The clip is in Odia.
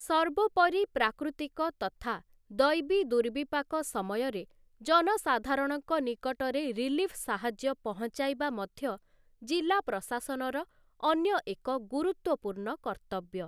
ସର୍ବୋପରି ପ୍ରାକୃତିକ ତଥା ଦୈବୀଦୂର୍ବିପାକ ସମୟରେ ଜନସାଧାରଣଙ୍କ ନିକଟରେ ରିଲିଫ୍ ସାହାଯ୍ୟ ପହଂଚାଇବା ମଧ୍ୟ ଜିଲ୍ଲା ପ୍ରଶାସନର ଅନ୍ୟ ଏକ ଗୁରୁତ୍ଵପୂର୍ଣ୍ଣ କର୍ତ୍ତବ୍ୟ ।